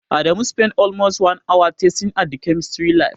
Adamu spent almost an hour testing at the chemistry lab.